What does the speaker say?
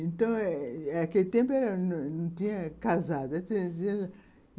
Então eh eh, naquele tempo era, não tinha casado.